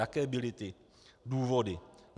Jaké byly ty důvody?